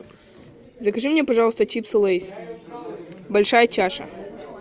закажи мне пожалуйста чипсы лейс большая чаша